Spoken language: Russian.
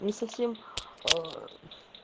не совсем ээ